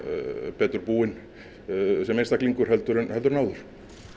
betur búinn sem einstaklingur heldur en heldur en áður